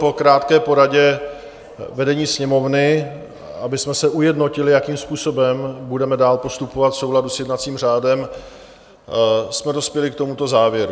Po krátké poradě vedení Sněmovny, abychom se ujednotili, jakým způsobem budeme dál postupovat v souladu s jednacím řádem, jsme dospěli k tomuto závěru.